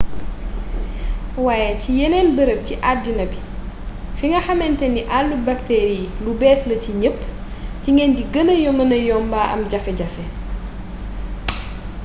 waaye ci yeneen barab ci addina bi fi nga xamantane àllu bakteri yi lu bees la ci ñépp ci ngeen di gëna mëna yomba am ay jafe-jafe